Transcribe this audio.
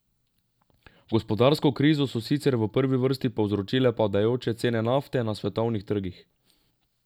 Gospodarsko krizo so sicer v prvi vrsti povzročile padajoče cene nafte na svetovnih trgih.